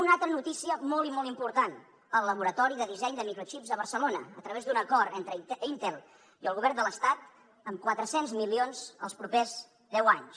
una altra notícia molt i molt important el laboratori de disseny de microxips a barcelona a través d’un acord entre intel i el govern de l’estat amb quatre cents milions els propers deu anys